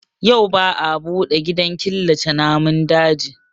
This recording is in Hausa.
Yau ba a buɗe gidan killace namun daji